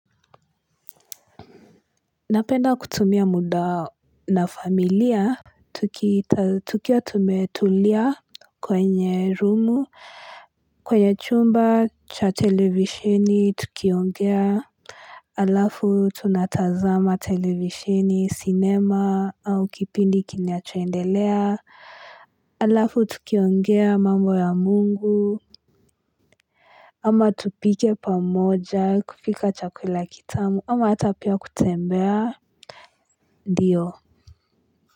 Napenda kutumia muda na familia tukiwa tumetulia kwenye rumu kwenye chumba cha televisheni tukiongea Alafu tunatazama televisheni cinema au kipindi kinachoendelea Alafu tukiongea mambo ya mungu ama tupike pamoja kupika chakula kitamu ama hata pia kutembea ndiyo.